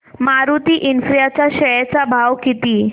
Maruti infra च्या share चा भाव किती